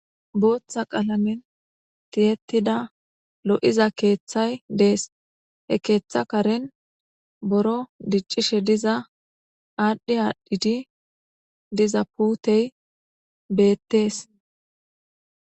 Booththa qalamen tiyettida lo7iza keeththay dees he keeththa karen boro diccishe diza aadhdhi aadhdhidi diza puutey beettees.